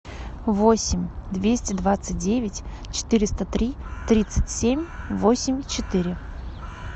восемь двести двадцать девять четыреста три тридцать семь восемь четыре